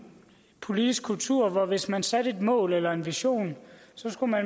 politisk kultur hvor man hvis man satte et mål eller fremlagde en vision